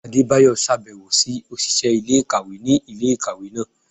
Adébáyọ ṣabẹwo si oṣiṣẹ ilé-ikáwe ni ilé-ikáwe náá